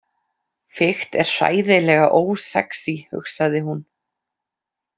Fikt er hræðilega ósexí, hugsaði hún.